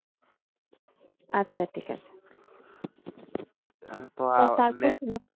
আচ্ছা ঠিক আছে। তো তারপর